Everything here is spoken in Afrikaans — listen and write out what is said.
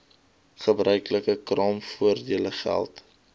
gebruiklike kraamvoordele geld